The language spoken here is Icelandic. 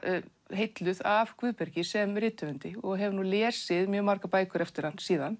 heilluð af Guðbergi sem rithöfundi og hef lesið margar bækur eftir hann síðan